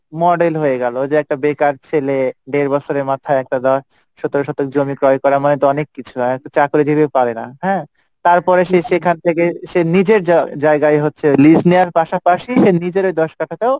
model হয়ে গেলো যে একটা বেকার ছেলে দেড় বছরের মাথায় সতেরো শতক জমি ক্রয় করা মানে তো অনেক কিছু চাকরি জীবী ও পারেনা হ্যাঁ? তারপরে সে সেখান থেকে সে নিজের জায়গায় হচ্ছে lease নেওয়ার পাশাপাশি সে নিজের দশ কাঠা টাও